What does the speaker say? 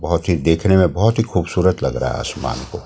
बहुत ही देखने में बहुत ही खूबसूरत लग रहा है आसमान--